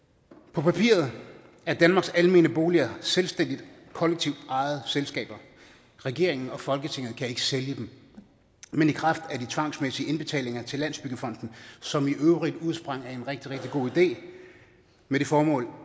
på papiret er danmarks almene boliger selvstændige kollektivt ejede selskaber regeringen og folketinget kan ikke sælge dem men i kraft af de tvangsmæssige indbetalinger til landsbyggefonden som i øvrigt udsprang af en rigtig rigtig god idé med det formål